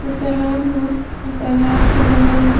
इ तालाब ह आ तालाब के बगल में --